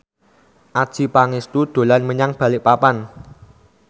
Adjie Pangestu dolan menyang Balikpapan